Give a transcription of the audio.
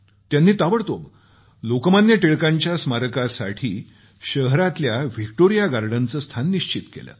त्यांनी ताबडतोब लोकमान्य टिळकांच्या स्मारकासाठी शहरातल्या व्हिक्टोरिया गार्डनचं स्थान निश्चित केलं